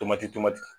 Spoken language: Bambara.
Tomati tomati